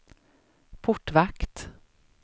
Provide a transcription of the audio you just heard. portvakt